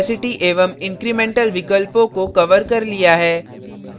मैंने opacity एवं incremental विकल्पों को कवर कर लिया है